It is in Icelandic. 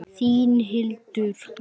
Þín, Hildur Lára.